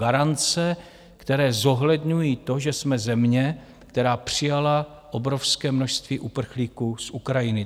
Garance, které zohledňují to, že jsme země, která přijala obrovské množství uprchlíků z Ukrajiny.